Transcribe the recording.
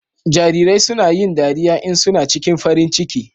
Jarirai suna yin dariya in suna cikin farin ciki.